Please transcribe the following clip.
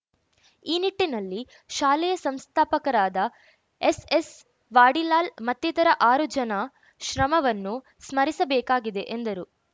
ಈ ನಿಟ್ಟಿನಲ್ಲಿ ಶಾಲೆಯ ಸಂಸ್ಥಾಪಕರಾದ ಎಸ್‌ಎಸ್‌ ವಾಡಿಲಾಲ್‌ ಮತ್ತಿತರ ಆರು ಜನ ಶ್ರಮವನ್ನು ಸ್ಮರಿಸಬೇಕಾಗಿದೆ ಎಂದರು